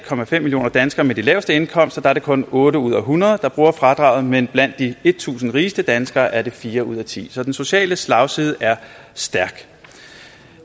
millioner danskere med de laveste indkomster er det kun otte ud af hundrede der bruger fradraget men blandt de tusind rigeste danskere er det fire ud af tiende så den sociale slagside er stærk